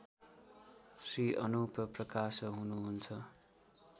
श्री अनुप प्रकाश हुनुहुन्छ